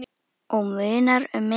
Og munar um minna!